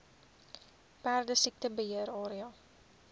perdesiekte beheer area